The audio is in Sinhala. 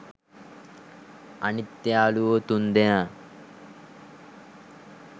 අනිත් යාලුවෝ තුන්දෙනා